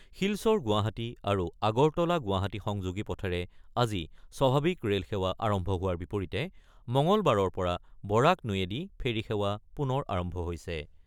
শিলচৰ গুৱাহাটী আৰু আগৰতলা-গুৱাহাটী সংযোগী পথেৰে আজি স্বাভাৱিক ৰে'লসেৱা আৰম্ভ হোৱাৰ বিপৰীতে মঙলবাৰৰ পৰা বৰাক নৈয়েদি ফেৰী সেৱা পুনৰ আৰম্ভ হৈছে।